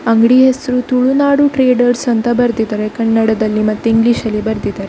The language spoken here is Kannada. ಅಂಗ್ಡಿ ಹೆಸ್ರು ತುಳುನಾಡು ಟ್ರೇಡರ್ಸ್ ಅಂತ ಬರ್ದಿದ್ದಾರೆ ಕನ್ನಡದಲ್ಲಿ ಮತ್ತೆ ಇಂಗ್ಲಿಷಲ್ಲಿ ಬರ್ದಿದ್ದಾರೆ.